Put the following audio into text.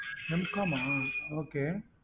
Mcom ah okay